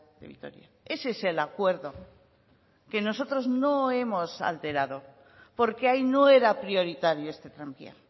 de vitoria ese es el acuerdo que nosotros no hemos alterado porque ahí no era prioritario este tranvía